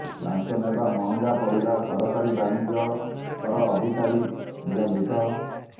ଲାଞ୍ଚ ନେବା ମହଙ୍ଗା ପଡ଼ିଲା ସହକାରୀ ବାଣିଜ୍ୟ କର ଅଧିକାରୀ ନିଲମ୍ବିତ